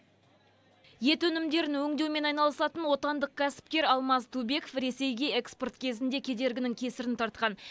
ет өнімдерін өңдеумен айналысатын отандық кәсіпкер алмаз түбеков ресейге экспорт кезінде кедергінің кесірін тартқан